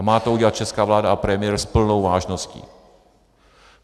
A má to udělat česká vláda a premiér s plnou vážností.